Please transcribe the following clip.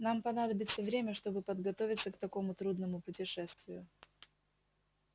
нам понадобится время чтобы подготовиться к такому трудному путешествию